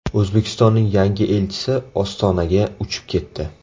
O‘zbekistonning yangi elchisi Ostonaga uchib ketdi.